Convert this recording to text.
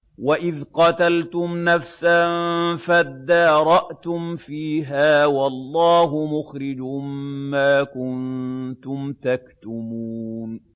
وَإِذْ قَتَلْتُمْ نَفْسًا فَادَّارَأْتُمْ فِيهَا ۖ وَاللَّهُ مُخْرِجٌ مَّا كُنتُمْ تَكْتُمُونَ